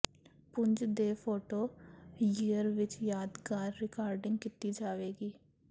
ਪੁੰਜ ਦੇ photo year ਵਿਚ ਯਾਦਗਾਰ ਰਿਕਾਰਡਿੰਗ ਕੀਤੀ ਜਾਵੇਗੀ